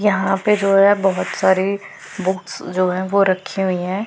यहां पे जो है बहोत सारी बुक्स जो है वो रखी हुई है।